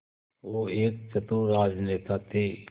वो एक चतुर राजनेता थे